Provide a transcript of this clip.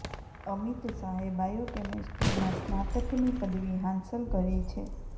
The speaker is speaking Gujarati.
અમિત શાહે બાયો કેમિસ્ટ્રીમાં સ્નાતકની પદવી હાંસલ કરી છે